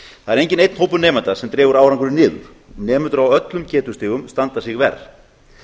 það er enginn einn hópur nemenda sem dregur árangurinn niður nemendur á öllum getustigum standa sig verr